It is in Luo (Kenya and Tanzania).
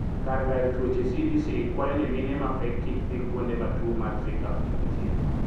Kar gayo tuoche(CDC) kwayo ni mine mapek kik dhi kuonde matuo mar zika omuoche.